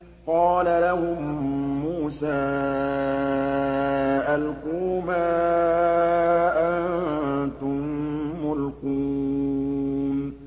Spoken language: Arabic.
قَالَ لَهُم مُّوسَىٰ أَلْقُوا مَا أَنتُم مُّلْقُونَ